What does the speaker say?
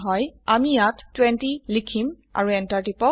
আমি ইয়াত 20 লিখিম আৰু এন্টাৰ টিপক